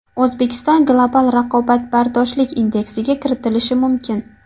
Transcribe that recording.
O‘zbekiston global raqobatbardoshlik indeksiga kiritilishi mumkin.